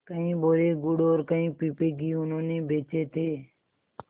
कई बोरे गुड़ और कई पीपे घी उन्होंने बेचे थे